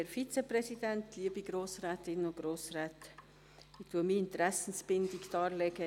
Ich lege meine Interessenbindung dar.